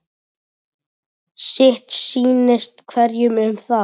Sitt sýnist hverjum um það.